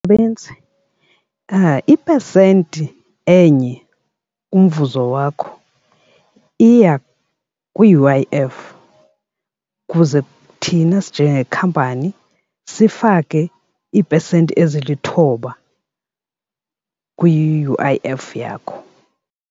ipesenti enye kumvuzo wakho iya kwi-U_I_F ukuze thina sinjengekampani sifake iipesenti ezilithoba kwi-U_I_F yakho.